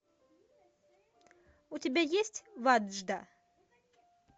у тебя есть ваджда